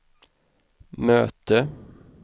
möte